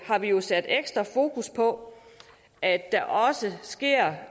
har vi jo sat ekstra fokus på at der også sker